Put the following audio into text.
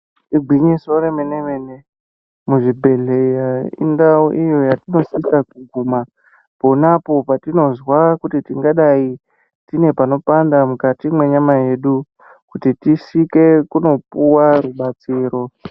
Igwinyiso remene mene muzvibhedhlera indau iyo pona apo patinonzwa tingadai tine panopanda patingaenda edu kuti tisvike pakupuwa rubatsiro.